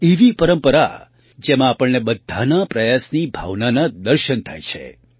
એક એવી પરંપરા જેમાં આપણને બધાના પ્રયાસની ભાવનાના દર્શન થાય છે